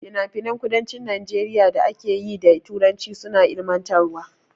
Finafinan kudancin Najeriya da ake yi da Turanci suna ilmantarwa.